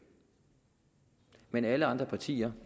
men alle andre partier